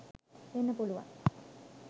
වෙන්න පුළුවන්.